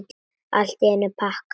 Allt í einum pakka!